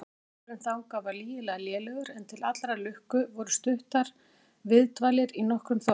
Vegurinn þangað var lygilega lélegur, en til allrar lukku voru stuttar viðdvalir í nokkrum þorpum.